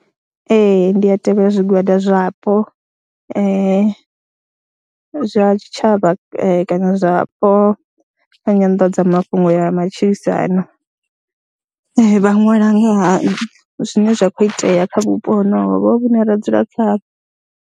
Ee, ndi a tevhela zwigwada zwapo zwa tshitshavha kana zwapo zwa nyanḓadzamafhungo ya matshilisano. Vha ṅwala nga ha zwine zwa khou itea kha vhupo honovho vhune ra dzula khaho.